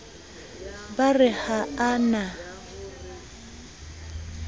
ba re ha a na